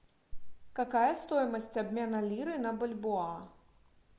какая стоимость обмена лиры на бальбоа